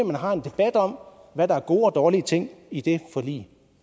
man har en debat om hvad der er gode og dårlige ting i det forlig